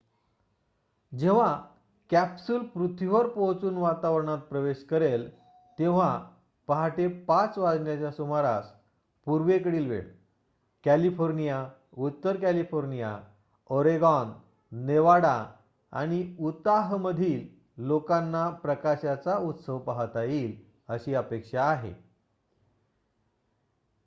जेव्हा कॅप्सूल पृथ्वीवर पोहोचून वातावरणात प्रवेश करेल तेव्हा पाहाटे ५ वाजण्याच्या सुमारास पूर्वेकडील वेळ कॅलिफोर्निया उत्तर कॅलिफोर्निया ओरेगॉन नेवाडा आणि उताहमधील लोकांना प्रकाशाचा उत्सव पाहता येईल अशी अपेक्षा आहे